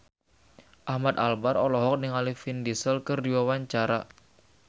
Ahmad Albar olohok ningali Vin Diesel keur diwawancara